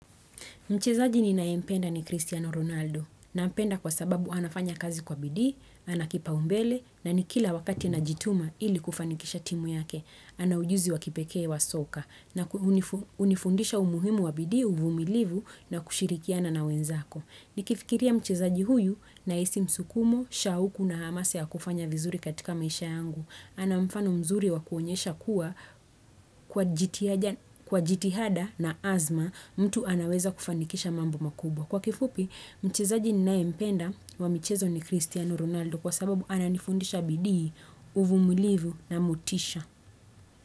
Mchezaji ninaempenda ni Christiano Ronaldo nampenda kwa sababu anafanya kazi kwa bidii, ana kipaumbele na ni kila wakati anajituma ili kufanikisha timu yake. Ana ujuzi wa kipekee wa soka na hunifundisha umuhimu wa bidii uvumilivu na kushirikiana na wenzako. Nikifikiria mchezaji huyu nahisi msukumo, shauku na hamasa ya kufanya vizuri katika maisha yangu. Ana mfano mzuri wa kuonyesha kuwa kwa jitihada na azma mtu anaweza kufanikisha mambo makubwa. Kwa kifupi, mchezaji ninayempenda wa mchezo ni Cristiano Ronaldo kwa sababu ananifundisha bidii uvumulivu na motisha.